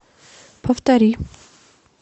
повтори